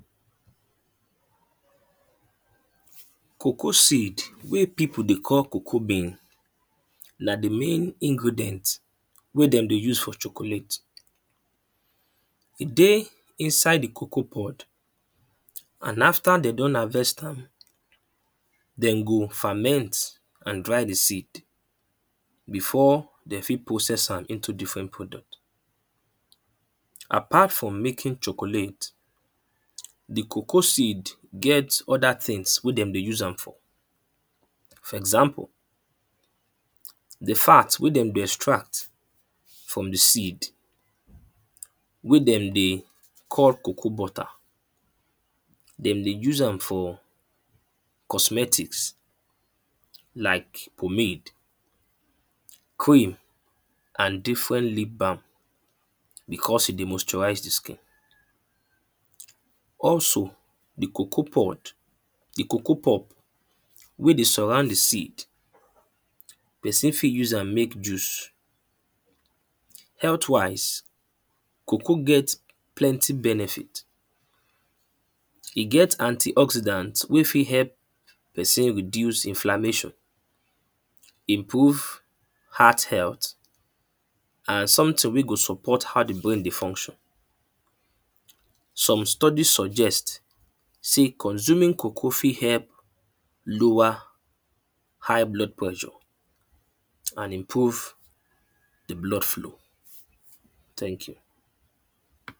Cocoa seed wey people dey call cocoabean na the main ingredient wey dem dey use for chocolate. E dey inside the cocoapod. And after dem don harvest am dem go ferment and dry the seed before de fit process am into different product. Apart from making chocolate, the cocoaseed get other things wey dem dey use am for. For example, the fat wey dem de extract from the seed wey dem dey call cocoa butter, dem dey use am for cosmetics like pomade, cream and different lip balm because e dey moisturize the skin. Also, the cocoa pod the cocoa pop wey dey surround the seed person fi use am make juice. Healthwise cocoa get plenty benefit. E get anti-oxydant wey fit help person reduce inflamation. Improve heart health and something wey go support how the brain dey function. Some study suggest sey consuming cocoa fi help lower high blood pressure and improve the blood flow. Thank you.